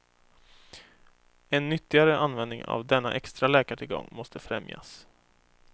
En nyttigare användning av denna extra läkartillgång måste främjas.